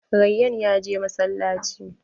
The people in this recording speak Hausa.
Rayyan ya je masalaci.